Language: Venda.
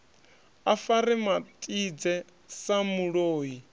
a fare matidze sa muloi